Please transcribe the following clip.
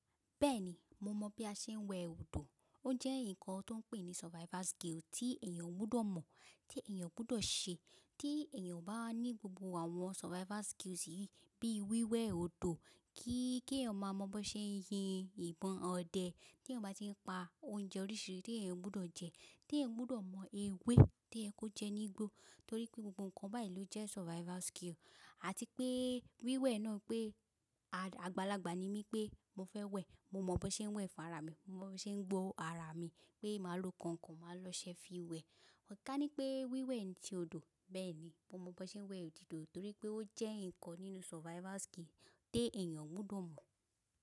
Bẹ́ẹ̀ni, mo mọ̀ bí a ṣe ń wẹ odò. Ó jẹ́ ǹkan tó ń pè ní survival skill tí èèyàn gbọ́dọ̀ mọ̀, tí èèyàn gbọ́dọ̀ ṣe. Tí èèyàn bá ní gbogbo àwọn survival skills yìí, bí wíwẹ̀ odò, kí èèyàn máa mọ̀ bó ṣe ń yin ìbọn ọdẹ, tí èèyàn bá ti ń pa oúnjẹ oríṣiri tí èèyàn gbọ́dọ̀ jẹ, tí èèyàn gbọ́dọ̀ mọ ewé tí ẹ kó jẹ nígbó. Torí pé gbogbo ǹkan báyìí ló jẹ́ survival skill àti pé wíwẹ̀ náà pé àgbàlagbà ni mí pé mo fẹ́ wẹ̀, mo mọ̀ bó ṣe ń wẹ̀ fún ara mi, mo mọ̀ bó ṣe ń gbọ́ ara mi pé màá lo ǹkan kan, màá lọ ṣe fi wẹ̀. Kanipe ni wíwẹ̀ ti odò bẹ́ẹ̀ ni. Mo mọ̀ bó ṣe ń wẹ̀ odò torí pé ó jẹ́ ǹkan nínú survival skill tí èèyàn gbọ́dọ̀ mọ̀.